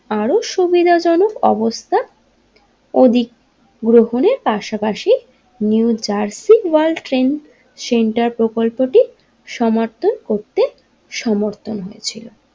আরও সুবিধাজনক অবস্থা ওদিক গ্রহণের পাশাপাশি New Jersey World Trade Center প্রকল্পটি সমর্থন করতে সমর্থন হয়েছিলেন।